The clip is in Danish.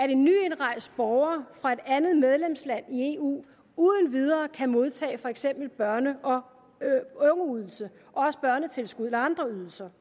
en nyindrejst borger fra et andet medlemsland i eu uden videre kan modtage for eksempel børne og ungeydelse eller andre ydelser